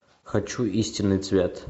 хочу истинный цвет